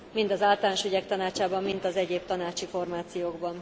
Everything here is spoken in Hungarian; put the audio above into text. mind az Általános Ügyek Tanácsában, mind az egyéb tanácsi formációkban.